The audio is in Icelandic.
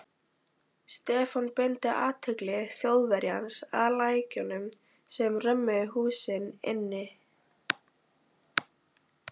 Stefán beindi athygli Þjóðverjans að lækjunum sem römmuðu húsin inn.